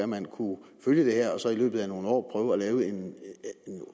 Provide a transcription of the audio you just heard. man kunne følge det her og så i løbet af nogle år prøve at lave en